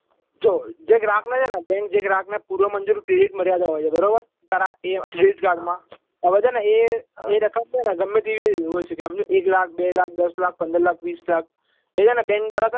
જો જે ગ્રાહક ને છે ને bank જે ગ્રાહક ને પૂરો મંજિલ credit મર્યાદા હોય છે બરાબર તારા એ અથિલેશ guard માં હવે છે ને એ રકમ છે ને ગમે તેવી હોય શકે એક લાખ બે લાખ દસ લાખ પંદર લાખ વિસ લાખ એ છે ને bank દ્વારા તને